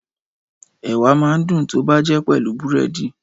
Ẹ̀wà máa ń dùn tó bá jẹ́ pelu búrẹ́dì